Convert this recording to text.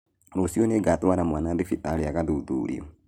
Rũciũ nĩngatwara mwana thibitarĩ agathuthurio